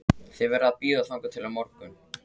Þið verðið að bíða þangað til á morgun